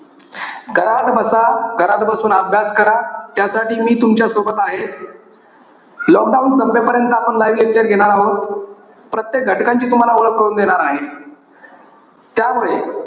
घरात बसा. घरात बसून अभ्यास करा. त्यासाठी मी तुमच्या सोबत आहे. lockdown संपेपर्यंत आपण live lecture घेणार आहोत. प्रत्येक घटकांची तुम्हाला ओळख करून देणार आहे. त्यामुळे,